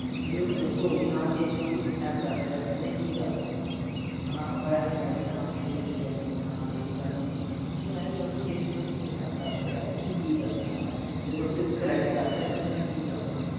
ਤੁਸੀਂ ਓਹਨੂੰ ਦੱਸੋ ਵੀ ਹਾਂ ਜੇ ਤੈਨੂੰ ਕੋਈ kidnap ਕਰ ਰਿਹੇ ਤਾਂ ਤੂੰ ਕਿ ਕਰਨੇ ਹਣਾ ਆਪਾਂ ਆਏਂ ਤਾਂ ਕਹਿ ਦਿੰਨੇ ਆ ਹਾਂ ਕਿਸੇ ਤੋਂ ਕੁਸ਼ ਲੈ ਕੇ ਨਹੀਂ ਖਾਣਾ ਯੇ ਨੀ ਕਰਨਾ ਨਹੀਂ ਤੁਸੀਂ ਆਏਂ ਵੀ ਦਸੋ ਜੇ ਥੋਨੂੰ ਕੋਈ kidnap ਕਰ ਰਿਹੇ ਤੁਸੀਂ ਕਿ ਕਰਨੇ ਹਣਾ ਜੇ ਥੋਡੇ ਤੇ ਕੋਈ crime ਕਰ ਰਿਹੇ ਤਾਂ ਥੋਨੂੰ ਕਿ ਕਰਨੇ